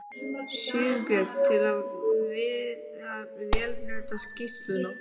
Sigurbjörn til við að vélrita skýrsluna.